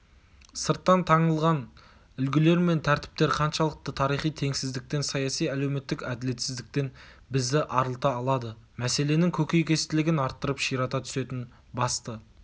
сырттан таңылған үлгілер мен тәртіптер қаншалықты тарихи теңсіздіктен саяси-әлеуметтік әділетсіздіктен бізді арылта алады мәселенің көкейкестілігін арттырып ширата түсетін басты